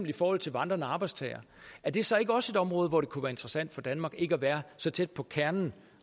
i forhold til vandrende arbejdstagere er det så ikke også et område hvor det kunne være interessant for danmark ikke at være så tæt på kernen